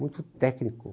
Muito técnico.